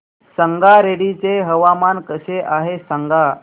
संगारेड्डी चे हवामान कसे आहे सांगा